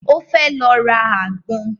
Ó fẹ́ lọ ra àgbọn